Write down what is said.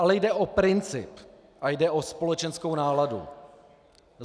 Ale jde o princip a jde o společenskou náladu.